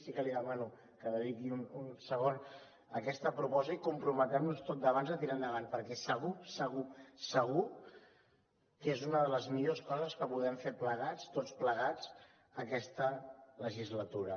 sí que li demano que dediqui un segon a aquesta proposta i comprometem nos tots a tirar endavant perquè segur segur segur que és una de les millors coses que podem fer plegats tots plegats aquesta legislatura